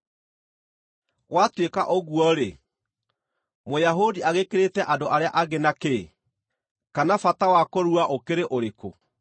Gwatuĩka ũguo-rĩ, Mũyahudi agĩkĩrĩte andũ arĩa angĩ na kĩ? Kana bata wa kũrua ũkĩrĩ ũrĩkũ?